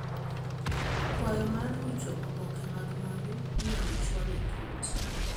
Kwayo mar rucho oboke mag mwandu inyal chwal e kot.